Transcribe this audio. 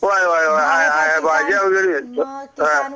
हो आहे पाहिजे